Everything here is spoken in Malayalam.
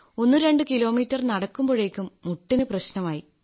ഒന്നുരണ്ട് കിലോമീറ്റർ നടക്കുമ്പോഴേക്കും മുട്ടിന് പ്രശ്നമായി